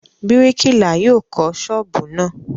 Bíríkìlà yóò kọ́ ṣọ́ọ́bù náà.